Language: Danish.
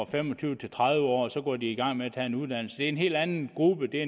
fem og tyve til tredive årige så går i gang med at tage en uddannelse en helt anden gruppe det er